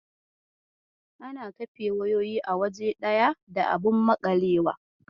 Ana kafe wayoyi a waje daya da abun maƙalewa